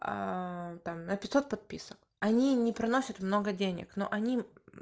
а там на пятьсот подписок они не приносят много денег но они